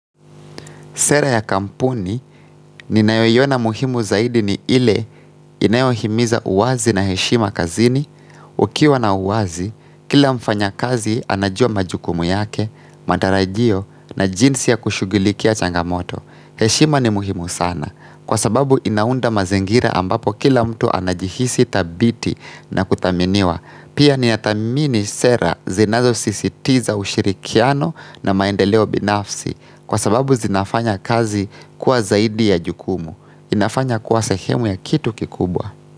Sera ya kampuni ninayoiona muhimu zaidi ni ile inayohimiza uwazi na heshima kazini. Ukiwa na uwazi, kila mfanya kazi anajua majukumu yake, matarajio na jinsi ya kushugulikia changamoto. Heshima ni muhimu sana kwa sababu inaunda mazingira ambapo kila mtu anajihisi tabithi na kuthaminiwa. Pia ninathamini sera zinazo sisitiza ushirikiano na maendeleo binafsi. Kwa sababu zinafanya kazi kuwa zaidi ya jukumu inafanya kuwa sehemu ya kitu kikubwa.